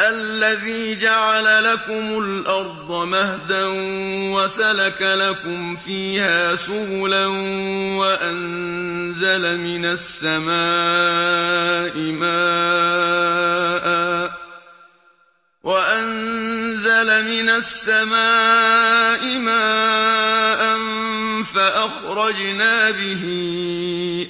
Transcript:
الَّذِي جَعَلَ لَكُمُ الْأَرْضَ مَهْدًا وَسَلَكَ لَكُمْ فِيهَا سُبُلًا وَأَنزَلَ مِنَ السَّمَاءِ مَاءً فَأَخْرَجْنَا بِهِ